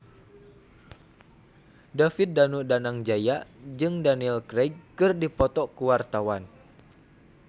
David Danu Danangjaya jeung Daniel Craig keur dipoto ku wartawan